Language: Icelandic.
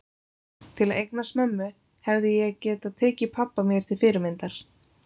Til að eignast mömmu hefði ég getað tekið pabba mér til fyrirmyndar.